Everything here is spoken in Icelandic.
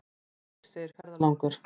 Heyr, segir ferðalangur.